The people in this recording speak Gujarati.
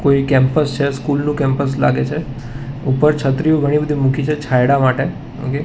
કોઈ કેમ્પસ છે સ્કૂલ નું કેમ્પસ લાગે છે ઉપર છત્રીઓ ઘણી બધી મૂકી છે છાયડા માટે ઓકે .